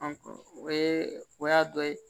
o ye o y'a dɔ ye